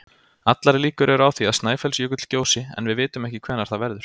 Allar líkur eru á því að Snæfellsjökull gjósi en við vitum ekki hvenær það verður.